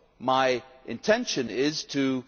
job. My intention is to